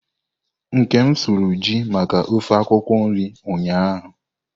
Nkem suru ju maka ofe akwukwo nri ụnyahụ.